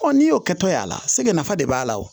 n'i y'o kɛ tɔ ya la se nafa de b'a la wo